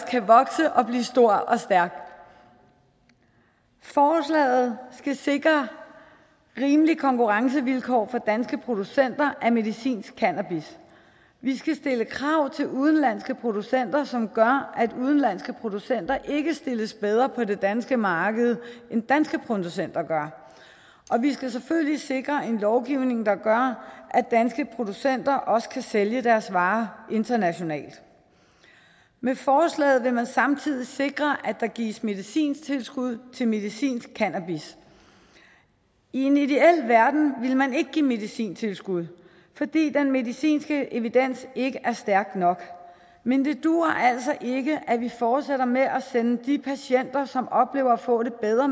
kan vokse og blive stor og stærk forslaget skal sikre rimelige konkurrencevilkår for danske producenter af medicinsk cannabis vi skal stille krav til udenlandske producenter som gør at udenlandske producenter ikke stilles bedre på det danske marked end danske producenter og vi skal selvfølgelig sikre en lovgivning der gør at danske producenter også kan sælge deres varer internationalt med forslaget vil man samtidig sikre at der gives medicintilskud til medicinsk cannabis i en ideel verden ville man ikke give medicintilskud fordi den medicinske evidens ikke er stærk nok men det duer altså ikke at vi fortsætter med at sende de patienter som oplever at få det bedre